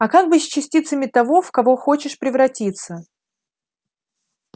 а как быть с частицами того в кого хочешь превратиться